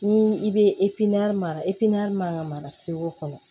Ni i bɛ mara man kan ka mara segu kɔnɔ